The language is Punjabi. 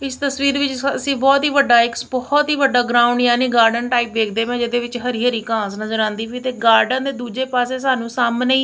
ਇੱਸ ਤਸਵੀਰ ਵਿੱਚ ਅੱਸੀ ਬਹੁਤ ਹੀ ਵੱਡਾ ਇੱਕ ਬਹੁਤ ਹੀ ਵੱਡਾ ਗਰਾਊਂਡ ਯਾਨੀ ਗਾਰਡਨ ਟਾਇਪ ਵੇਖਦੇ ਵਾਂ ਜਿਹਦੇ ਵਿੱਚ ਹਰੀ ਹਰੀ ਘਾਸ ਨਜ਼ਰ ਆਉਂਦੀ ਪਾਈ ਤੇ ਗਾਰਡਨ ਦੇ ਦੁੱਜੇ ਪਾੱਸੇ ਸਾਨੂੰ ਸਾਹਮਣੇ ਹੀ--